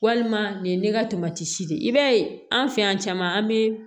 Walima nin ye ne ka de ye i b'a ye an fɛ yan caman an bɛ